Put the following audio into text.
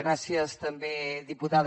gràcies també diputada